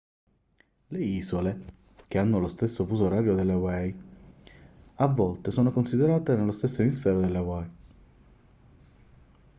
le isole che hanno lo stesso fuso orario delle hawaii a volte sono considerate nello stesso emisfero delle hawaii